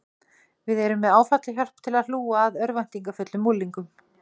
Við erum með áfallahjálp til að hlúa að örvæntingarfullum unglingum.